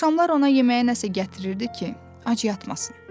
Axşamlar ona yeməyə nəsə gətirirdi ki, ac yatmasın.